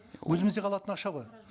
өзімізде қалатын ақша ғой